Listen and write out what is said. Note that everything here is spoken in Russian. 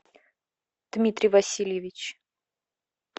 дмитрий васильевич